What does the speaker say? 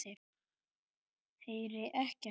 Heyri ekkert.